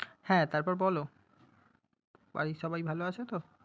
হ্যাঁ, তারপর বলো বাড়ির সবাই ভালো আছে তো?